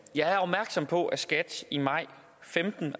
jeg er opmærksom på at skat i maj og femten